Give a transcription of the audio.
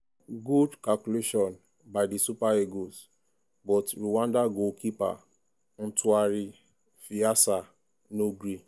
61mins- good calculation by di super eagles but rwanda goalkeeper ntwari fiacre no gree.